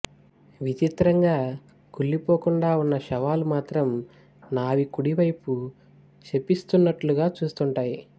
విచిత్రంగా కుళ్ళిపోకుండా ఉన్న శవాలు మాత్రం నావికుడివైపు శపిస్తున్నట్లుగా చూస్తుంటాయి